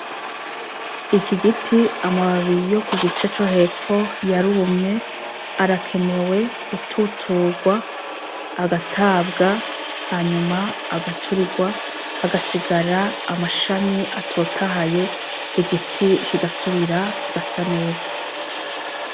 Iki giti amababi yo kugice co hepfo yarumye, arakenewe gututurwa agatabwa hanyuma agaturigwa hagasigara amashami atotahaye igiti kigasubira kigasa neza.